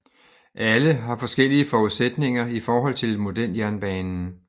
Alle har forskellige forudsætninger i forhold til modeljernbanen